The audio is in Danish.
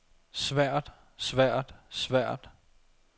svært svært svært